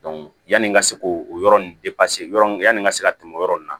yanni n ka se k'o yɔrɔ in yɔrɔ yanni n ka se ka tɛmɛ o yɔrɔ ninnu na